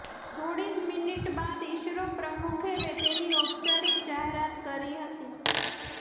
થોડી જ મિનિટ બાદ ઈસરો પ્રમુખે તેની ઔપચારિક જાહેરાત કરી હતી